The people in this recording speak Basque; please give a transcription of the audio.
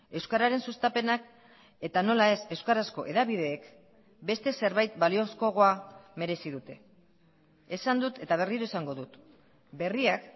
euskararen sustapenak eta nola ez euskarazko hedabideek beste zerbait baliozkoagoa merezi dute esan dut eta berriro esango dut berriak